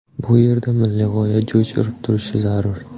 Bu yerda milliy g‘oya jo‘sh urib turishi zarur.